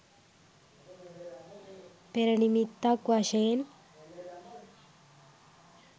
පෙර නිමිත්තක් වශයෙන්